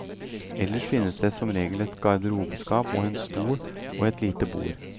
Ellers finnes det som regel et garderobeskap og en stol og et lite bord.